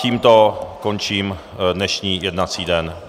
Tímto končím dnešní jednací den.